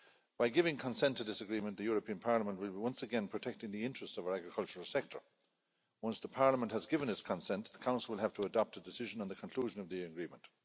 By giving consent to this agreement, the European Parliament is once again protecting the interests of our agricultural sector. Once Parliament has given its consent, the Council will have to adopt a decision on the conclusion of the Agreement.